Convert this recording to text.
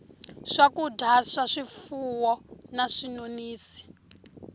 swakudya swa swifuwo na swinonisi